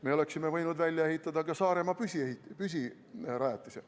Me oleksime võinud välja ehitada ka Saaremaa püsirajatise.